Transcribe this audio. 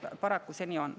Paraku see nii on.